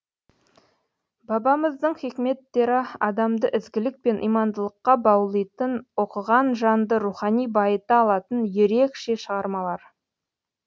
бабамыздың хикметтері адамды ізгілік пен имандылыққа баулитын оқыған жанды рухани байыта алатын ерекше шығармалар